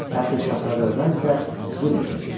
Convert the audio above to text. Əsil Şahzadə Ömər isə zülm çəkirdi.